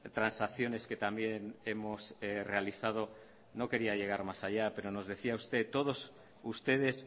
transacciones que también hemos realizado no quería llegar más allá pero nos decía usted todos ustedes